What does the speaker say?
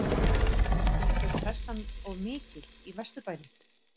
Finnst þér pressan of mikil í Vesturbænum?